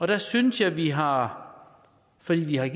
der synes jeg vi har fordi vi har